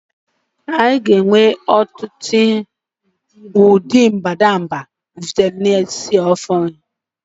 A ga-enwe ọtụtụ ụdị mbadamba vitamin C ọhụrụ.